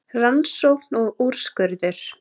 Rannsókn og úrskurður